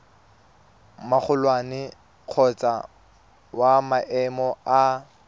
magolwane kgotsa wa maemo a